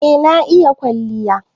Eh, na iƴa ƙwalliya.